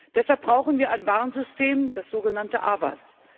Deshalb brauchen wir ein Warnsystem, das so genannte AVAS.